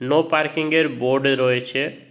No parking -এর board রয়েছে।